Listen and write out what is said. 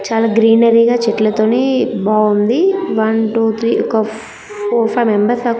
చాలా గ్రీనరి గా చెట్లతోని బావుంది. వన్ టు త్రీ ఒక ఫో -ఫోర్ వైఫ్ మెంబర్స్ దాకా--